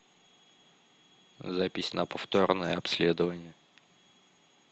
запись на повторное обследование